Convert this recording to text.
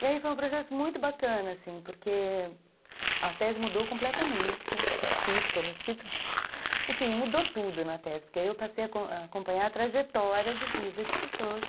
E aí foi um processo muito bacana, assim, porque a tese mudou completamente, o título, enfim, mudou tudo na tese, porque aí eu passei a acompanhar a trajetória de vida de pessoas.